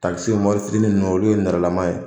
Takisi mototigi ninnu olu ye nɛrɛlama ye